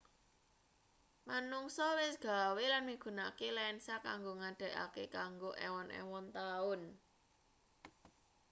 manungsa wis gawe lan migunakake lensa kanggo nggedhekake kanggo ewon-ewon taun